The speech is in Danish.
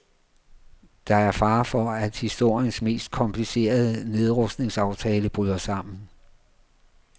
Der er fare for, at historiens mest komplicerede nedrustningsaftale bryder sammen.